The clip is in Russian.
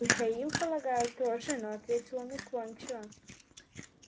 михаил полагаю тоже но ответил он уклончиво